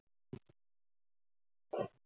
हां.